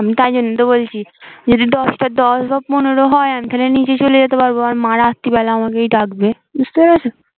আমি তাই জন্য তো বলছি যদি দশটা দশ বা পনেরো হয় আমি তাহলে নিচে চে যেতে পারবো মা রাত্রিবেলা আমাকে ডাকবে বুঝতে পেরেছো